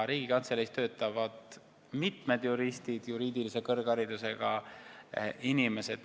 Riigikantseleis töötavad mitmed juristid, juriidilise kõrgharidusega inimesed.